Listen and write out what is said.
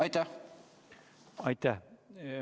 Aitäh!